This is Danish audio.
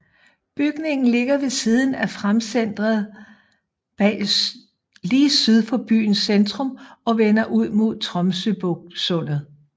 Bygnigen ligger ved siden af Framsenteret lige syd for byens centrum og vender ud mod Tromsøysundet